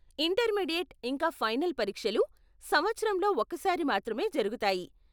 Intermediate ఇంకా final పరీక్షలు సంవత్సరంలో ఒకసారి మాత్రమే జరుగుతాయి.